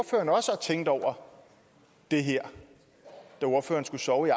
tænkte over det her da ordføreren skulle sove i